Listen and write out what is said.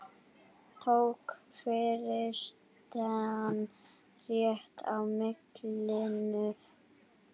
Tók forystan rétt á málinu?